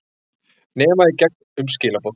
Nema í gegn- um skilaboð.